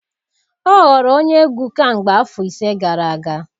Ọ ghọrọ onye egwu kemgbe afọ ise gara aga